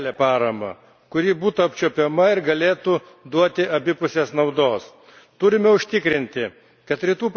Šiandien turime kalbėti apie realią paramą, kuri būtų apčiuopiama ir galėtų duoti abipusės naudos.